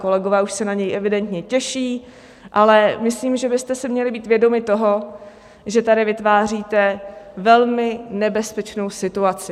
Kolegové už se na něj evidentně těší, ale myslím, že byste si měli být vědomi toho, že tady vytváříte velmi nebezpečnou situaci.